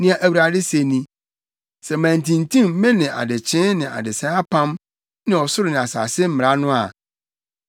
Nea Awurade se ni: ‘Sɛ mantintim me ne adekyee ne adesae apam ne ɔsoro ne asase mmara no a,